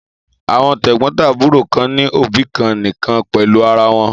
Àwọn tẹ̀gbọ́ntàbúrò kan ní òbí kan nìkan pẹ̀lú ara wọn.